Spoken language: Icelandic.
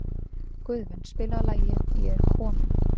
Guðvin, spilaðu lagið „Ég er kominn“.